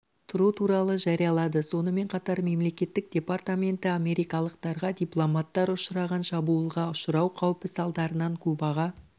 тұру туралы жариялады сонымен қатар мемлекеттік департаменті америкалықтарға дипломаттар ұшыраған шабуылға ұшырау қаупі салдарынан кубаға